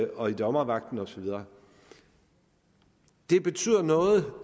og i dommervagten og så videre det betyder noget